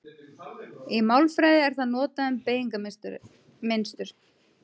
Í málfræði er það notað um beygingarmynstur.